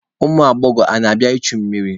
Ụmụ agbọghọ a ka na-abịa ichu mmiri?